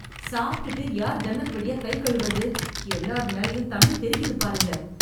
சாப்டுட்டு யார் ஜன்னல் வழியா கை கழுவுறது, எல்லார் மேலயும் தண்ணி தெறிக்குதுப் பாருங்க.